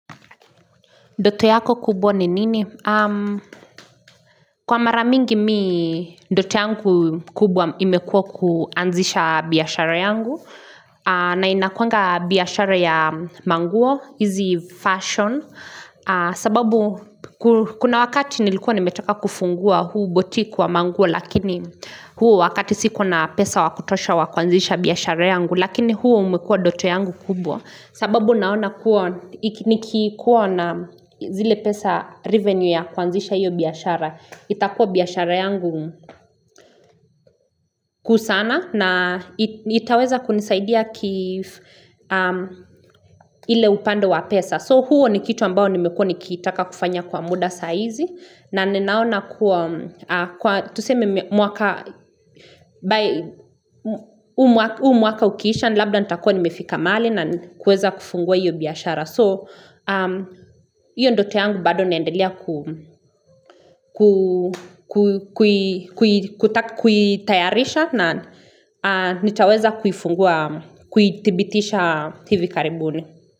nDoto yako kubwa ni nini? Kwa mara mingi mi ndoto yangu kubwa imekua kuanzisha biashara yangu. Na inakuanga biashara ya manguo, hizi fashion. Sababu kuna wakati nilikuwa nimetaka kufungua huu botik wa manguo lakini huo wakati sikua na pesa wa kutosha wa kuanzisha biashara yangu. Lakini huu umekua dote yangu kubwa. Sababu naona kuwa nikikuwa na zile pesa revenue ya kuanzisha iyo biashara. Itakuwa biashara yangu kuu sana na itaweza kunisaidia ile upande wa pesa. So huo ni kitu ambao nimekuwa nikitaka kufanya kwa muda saizi na ninaona kuwa kwa tuseme mwaka huu mwaka ukiisha labda nitakua nimefika mahali na kuweza kufungua hiyo biashara. So hiyo ndoto yangu bado naendelea kuitayarisha na nitaweza kuifungua kuidhibitisha hivi karibuni.